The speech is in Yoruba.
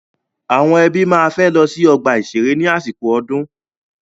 Àwọn ẹbí máa fẹ́ lọ sí ọ̀gbà ìṣeré ní àsìkò ọdún.